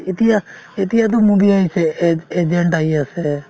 এতিয়া~ এতিয়াতো movie আহিছে agent আহি আছে